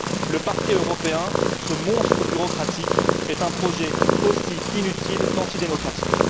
Le Parquet européen, ce monstre bureaucratique, est un projet aussi inutile qu'antidémocratique.